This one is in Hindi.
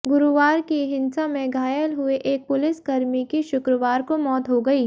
गुरुवार की हिंसा में घायल हुए एक पुलिसकर्मी की शुक्रवार को मौत हो गई